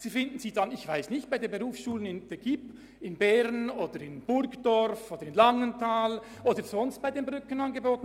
Sie finden sie vielleicht bei den Gibb in Bern, Burgdorf oder Langenthal oder sonst wo bei den Brückenangeboten.